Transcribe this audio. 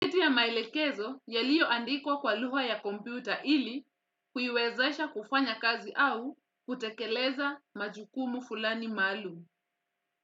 Haya maelekezo yaliyoandikwa kwa lugha ya kompyuta ili kuiwezesha kufanya kazi au kutekeleza majukumu fulani maalumu.